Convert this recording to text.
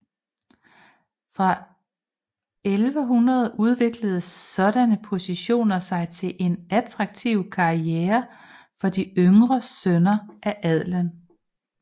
Fra 1100 udviklede sådanne positioner sig til en attraktiv karriere for de yngre sønner af adelen